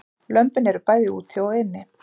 Lömbin eru bæði úti og inni